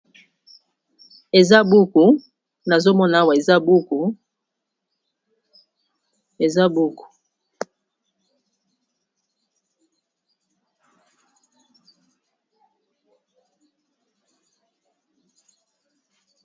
Eza buku nazo Mona Awa eza buku eza buku.